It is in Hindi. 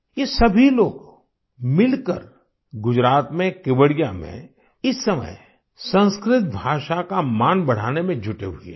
ये सभी लोग मिलकर गुजरात में केवड़िया में इस समय संस्कृत भाषा का मान बढ़ाने में जुटे हुए हैं